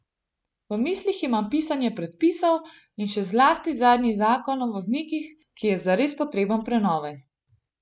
V mislih imam pisanje predpisov in še zlasti zadnji zakon o voznikih, ki je zares potreben prenove.